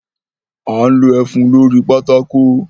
A n lo ẹfun lórí pátákò.